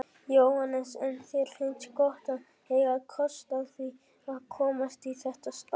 Jóhannes: En þér finnst gott að eiga kost á því að komast í þetta starf?